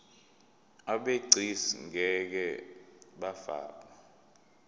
abegcis ngeke bafakwa